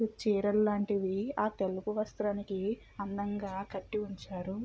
చీరల్లాంటివి ఆ తెలుపు వస్త్రానికి అందంగా కట్టి ఉంచారు.